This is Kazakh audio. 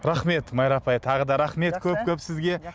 рахмет майра апай тағы да рахмет көп көп сізге